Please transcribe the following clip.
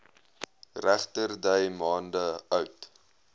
regterdy maande oud